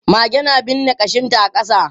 Mage na binne kashinta a ƙasa.